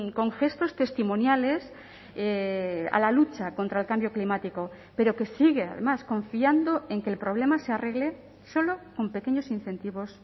con gestos testimoniales a la lucha contra el cambio climático pero que sigue además confiando en que el problema se arregle solo con pequeños incentivos